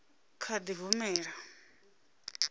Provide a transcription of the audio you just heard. i nga kha di humbela